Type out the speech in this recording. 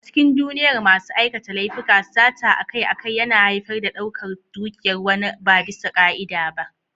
A cikin duniyar masu aikata laifuka, sata akai-akai yana haifar da ɗaukar dukiyar wani ba bisa ka'ida ba.